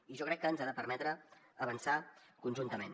i jo crec que ens ha de permetre avançar conjuntament